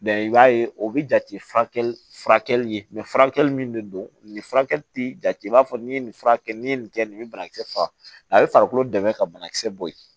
i b'a ye o bɛ jate furakɛli ye furakɛli min de don nin furakɛli ti ja i b'a fɔ ni ye nin furakɛ ni ye nin kɛ nin banakisɛ faga a be farikolo dɛmɛ ka banakisɛ bɔ ye